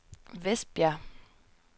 Vestbjerg